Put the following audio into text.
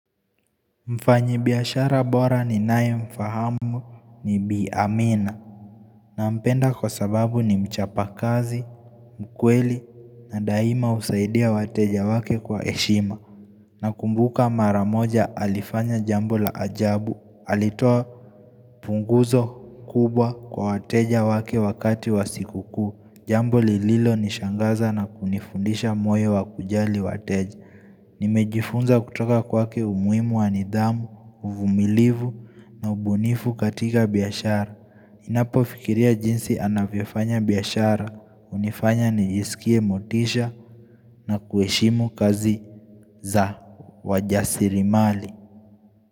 Mfanyibiashara bora ninaye mfahamu ni bi amina Nampenda kwa sababu ni mchapa kazi mkweli na daima husaidia wateja wake kwa heshima Nakumbuka mara moja alifanya jambo la ajabu alitoa funguzo kubwa kwa wateja wake wakati wa sikukuu jambo lililonishangaza na kunifundisha moyo wa kujali wateja Nimejifunza kutoka kwake umuhimu wa nidhamu, uvumilivu na ubunifu katika biashara napofikiria jinsi anavyofanya biashara, hunifanya nijisikie motisha na kuheshimu kazi za wajasirimali.